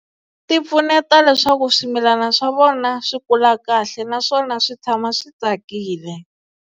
Ti pfuneta leswaku swimilana swa vona swi kula kahle naswona swi tshama swi tsakile.